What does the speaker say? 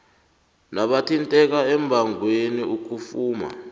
nabathinteka embangweni ukufuma